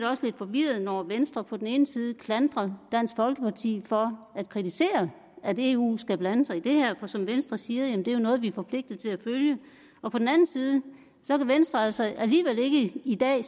også lidt forvirret når venstre på den ene side klandrer dansk folkeparti for at kritisere at eu skal blande sig i det her for som venstre siger er det jo noget vi er forpligtet til at følge og på den anden side så altså alligevel ikke i dag